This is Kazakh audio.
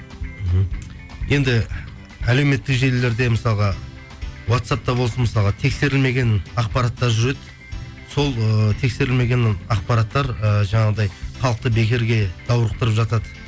мхм енді әлеуметтік желілерде мысалға уатсапта болсын мысалға тексерілмеген ақпараттар жүреді сол ыыы тексерілмеген ақпараттар ыыы жаңағындай халықты бекерге даурықтырып жатады